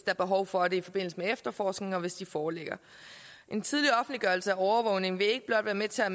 er behov for det i forbindelse med efterforskningen og hvis de forelægger en tidlig offentliggørelse af overvågning vil ikke blot være med til at